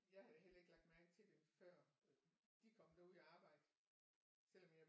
Jeg har da heller ikke lagt mærke til det før de kom derud og arbejde selvom jeg